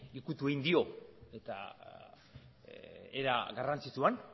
ukitu egin dio era garrantzitsuan